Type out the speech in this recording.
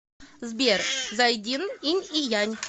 сбер зайдин инь и янь